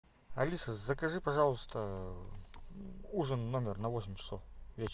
алиса закажи пожалуйста ужин в номер на восемь часов вечера